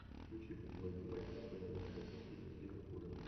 включи футбольный матч апл манчестер сити с ливерпулем